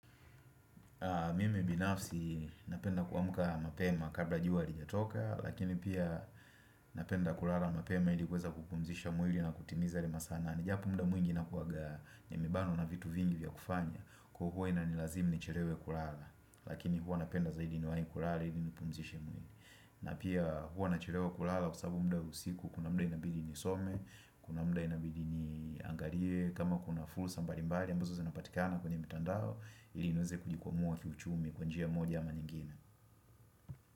Mime binafsi napenda kuamuka mapema kabla jiwa alijatoka Lakini pia napenda kurala mapema ili kweza kupumzisha mwili na kutimizari masana Nijapumda mwingi na kuwaga nyemibano na vitu vingi vya kufanya Kuhuwa ina nilazimu ni cherewe kurala Lakini huwa napenda zaidi ni waini kurala ili nupumzisha mwili na pia huwa na cherewe kurala kusabu mda usiku kuna muda inabidi ni some Kuna mda inabidi ni angariye kama kuna fursa mbalimbari wali ambazo zanapatikana kwenye mtandao ilinize kujikumua kiuchumi kwa njia moja ama nyingine.